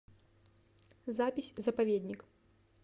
запись заповедник